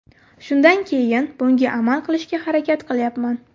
Shundan keyin bunga amal qilishga harakat qilyapman.